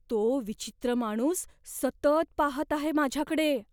तो विचित्र माणूस सतत पाहत आहे माझ्याकडे.